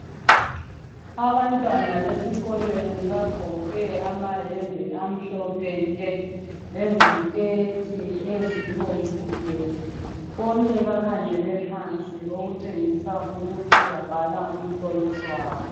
Abantwana besikolweni bagqoke amayembe amhlophe nke, leziketi ezibomvu gebhu. Bonke bakhangele phansi okutshengisa ukuthi babhala umhloliso wabo.